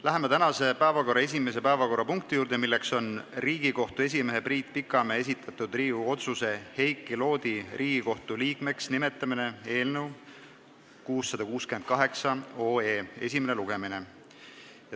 Läheme tänase päevakorra esimese päevakorrapunkti juurde, milleks on Riigikohtu esimehe Priit Pikamäe esitatud Riigikogu otsuse "Heiki Loodi Riigikohtu liikmeks nimetamine" eelnõu esimene lugemine.